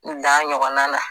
N dan ɲɔgɔnna na